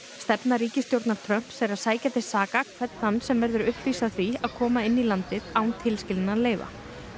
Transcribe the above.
stefna ríkisstjórnar Trumps er að sækja til saka hvern þann sem verður uppvís að því að koma inn í landið án tilskilinna leyfa